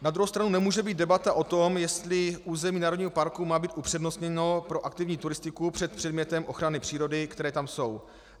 Na druhou stranu nemůže být debata o tom, jestli území národního parku má být upřednostněno pro aktivní turistiku před předmětem ochrany přírody, které tam jsou.